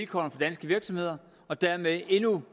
for danske virksomheder og dermed endnu